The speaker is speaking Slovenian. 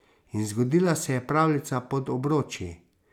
In zgodila se je pravljica pod obroči.